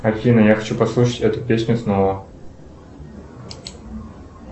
афина я хочу послушать эту песню снова